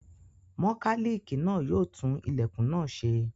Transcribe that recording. Mọkálíìkì náà yóò tún ilẹ̀kùn náà ṣe.